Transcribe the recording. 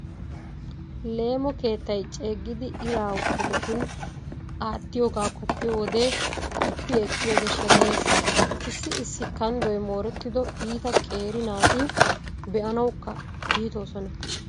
Leemo keettay ceeggiiddi ira wodetun aattiyogaa qoppiyo wode qoppi ekkiyoode sheneyees. Issi issi kanddoy moorettido iita qeeri naati be'anawukka iitoosona.